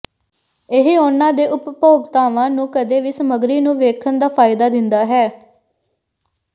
ਇਹ ਉਹਨਾਂ ਦੇ ਉਪਭੋਗਤਾਵਾਂ ਨੂੰ ਕਦੇ ਵੀ ਸਮਗਰੀ ਨੂੰ ਵੇਖਣ ਦਾ ਫਾਇਦਾ ਦਿੰਦਾ ਹੈ